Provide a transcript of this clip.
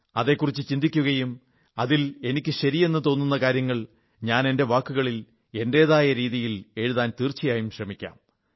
അതെക്കുറിച്ചു ചിന്തിക്കുകയും അതിൽ എനിക്ക് ശരിയെന്നു തോന്നുന്ന കാര്യങ്ങൾ ഞാൻ എന്റെ വാക്കുകളിൽ എന്റെതായ രീതിയിൽ എഴുതാൻ തീർച്ചയായും ശ്രമിക്കാം